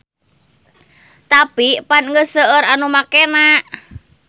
Tapi pan geus seueur nu makena.